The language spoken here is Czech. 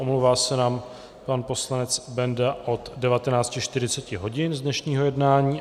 Omlouvá se nám pan poslanec Benda od 19.40 hodin z dnešního jednání.